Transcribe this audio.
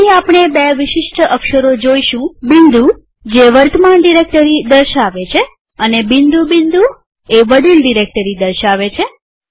અહીં આપણે બે વિશિષ્ટ અક્ષરો જોઈશું બિંદુદોટ જે વર્તમાન ડિરેક્ટરી દર્શાવે છે અને બિંદુ બિંદુ જે વડીલ ડિરેક્ટરી દર્શાવે છે